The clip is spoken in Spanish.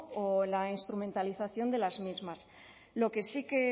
o en la instrumentalización de las mismas lo que sí que